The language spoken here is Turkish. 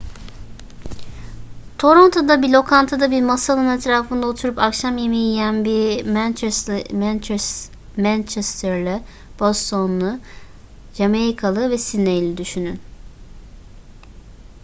toronto'da bir lokantada bir masanın etrafında oturup akşam yemeği yiyen bir manchesterlı bostonlu jamaikalı ve sidneyli düşünün